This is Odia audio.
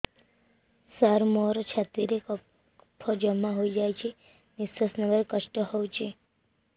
ସାର ମୋର ଛାତି ରେ କଫ ଜମା ହେଇଯାଇଛି ନିଶ୍ୱାସ ନେବାରେ କଷ୍ଟ ହଉଛି